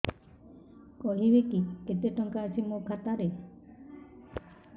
କହିବେକି କେତେ ଟଙ୍କା ଅଛି ମୋ ଖାତା ରେ